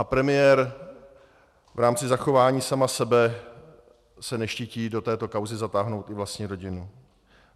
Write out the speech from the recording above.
A premiér v rámci zachování sama sebe se neštítí do této kauzy zatáhnout i vlastní rodinu.